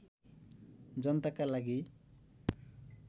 जनताका लागि